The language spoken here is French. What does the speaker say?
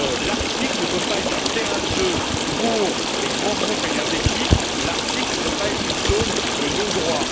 L'Arctique ne peut pas être un terrain de jeu pour les grands groupes énergétiques, l'Arctique ne peut pas être une zone de non droit.